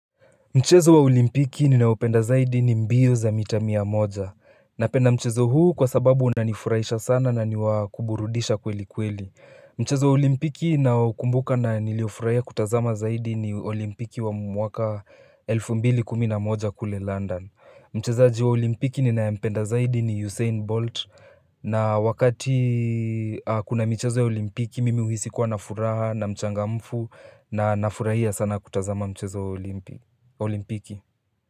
Mchezo wa olimpiki ninaopenda zaidi ni mbio za mita mia moja. Napenda mchezo huu kwa sababu unanifurahisha sana na ni wa kuburudisha kweli kweli Mchezo wa olimpiki naukumbuka na niliofurahia kutazama zaidi ni olimpiki wa mwaka elfu mbili kumi na moja kule London Mchezaji wa olimpiki ninayempenda zaidi ni Usain Bolt na wakati kuna michezo ya olimpiki mimi huhisi kwa na furaha na mchangamfu na nafurahia sana kutazama mchezo wa olimpiki olimpiki.